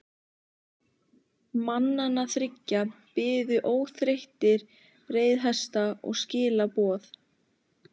Mannanna þriggja biðu óþreyttir reiðhestar og skilaboð.